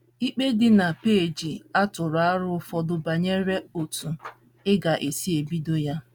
Igbe dị na peeji a tụrụ aro ụfọdụ banyere otú ị ga - esi ebido ya.